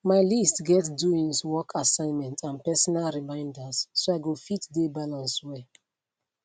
my list get doings work assignment and personal reminders so i go fit de balance well